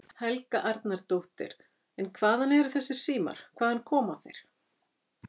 Helga Arnardóttir: En hvaðan eru þessir símar, hvaðan koma þeir?